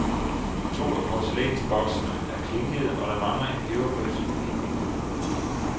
To af porcelænsboksene er klinkede og der mangler en peberbøsse i picknickurven.